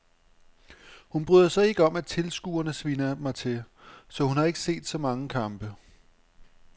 Hun bryder sig ikke om at tilskuerne sviner mig til, så hun har ikke set så mange kampe.